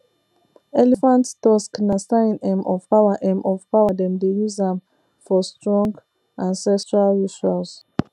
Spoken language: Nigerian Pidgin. elephant tusk na sign um of power um of power dem dey use am um for strong ancestral rituals